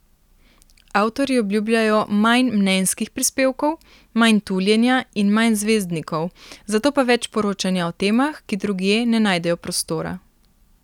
Avtorji obljubljajo manj mnenjskih prispevkov, manj tuljenja in manj zvezdnikov, zato pa več poročanja o temah, ki drugje ne najdejo prostora.